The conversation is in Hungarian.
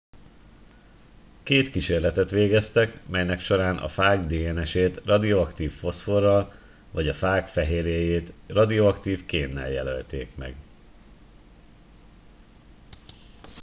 két kísérletet végeztek melynek során a fág dns ét radioaktív foszforral vagy a fág fehérjéjét radioaktív kénnel jelölték meg